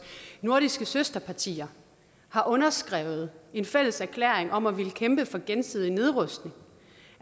nordiske søsterpartier har underskrevet en fælles erklæring om at ville kæmpe for gensidig nedrustning